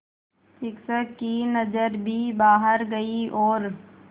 शिक्षक की नज़र भी बाहर गई और